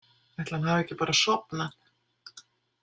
Ætli hann hafi ekki bara sofnað.